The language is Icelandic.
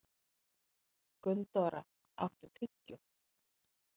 Gunndóra, áttu tyggjó?